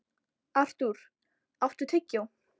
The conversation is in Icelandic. Artúr, áttu tyggjó?